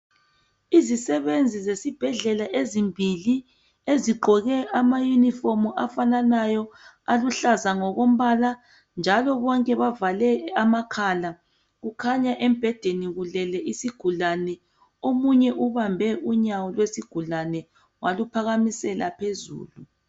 Izisebenzi zesibhedlela ezimbili ezigqoke ama uniform afananayo aluhlaza ngokombala njalo bonke bavale amakhala. Kukhanya embhedeni kulele isigulane omunye ubambe unyawo lwesigulane waluphakamisela phezulu.